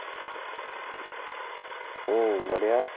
ହୁଁ ବଢିଆ